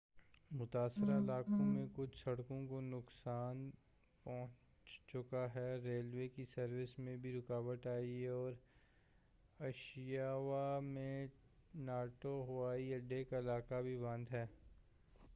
متاثرہ علاقوں میں کچھ سڑکوں کو نقصان پہنچ چکا ہے ریلوے کی سروس میں بھی رکاوٹ آئی ہے اور اشیکاوا میں ناٹو ہوائی اڈے کا علاقہ بھی بند ہے